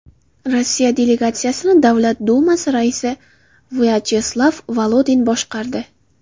Rossiya delegatsiyasini Davlat dumasi raisi Vyacheslav Volodin boshqardi.